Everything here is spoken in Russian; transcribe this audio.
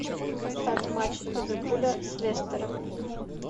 поставь матч ливерпуля с лестером